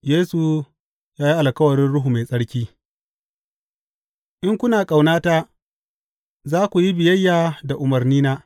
Yesu ya yi alkawarin Ruhu Mai Tsarki In kuna ƙaunata za ku yi biyayya da umarnina.